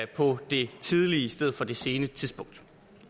på det tidligere i stedet for det sene tidspunkt